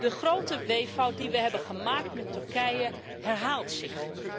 De grote weeffout die we hebben gemaakt met Turkije, herhaalt zich.